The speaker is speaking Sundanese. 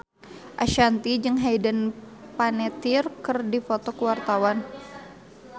Ashanti jeung Hayden Panettiere keur dipoto ku wartawan